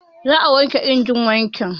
Za a wanke injin wanki